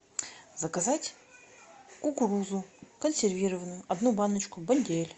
заказать кукурузу консервированную одну баночку бондюэль